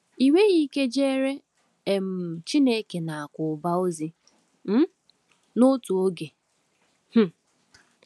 Ị nweghị ike jeere um Chineke na Aku Uba ozi um n’otu oge. ” um